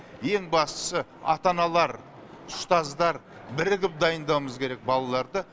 ең бастысы ата аналар ұстаздар бірігіп дайындауымыз керек балаларды